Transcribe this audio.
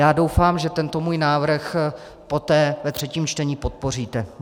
Já doufám, že tento můj návrh poté ve třetím čtení podpoříte.